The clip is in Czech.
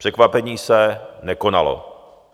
Překvapení se nekonalo.